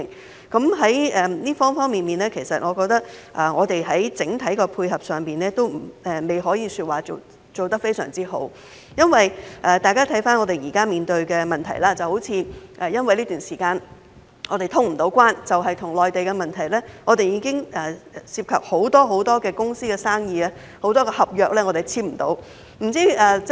在各個方面，我認為現時在整體配合上，仍然未可以說是做得相當好。因為，如果大家回看我們現時面對的問題，例如在這段時間無法通關，單是與內地的問題，已經涉及很多公司的生意及有很多合約無法簽訂。